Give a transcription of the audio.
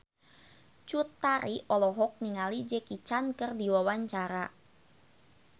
Cut Tari olohok ningali Jackie Chan keur diwawancara